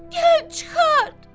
Gəl çıxart!